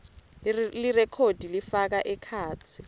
lirekhodi lifaka ekhatsi